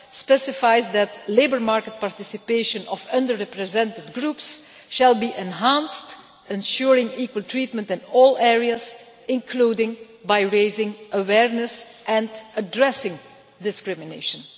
specifies that labour market participation of under represented groups shall be enhanced, ensuring equal treatment in all areas, including by raising awareness and addressing discrimination'.